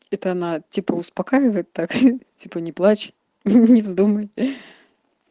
это она типа успокаивает так типа не плачь не вздумай